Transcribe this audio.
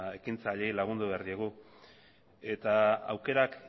ekintzaileei lagundu behar diegu eta aukerak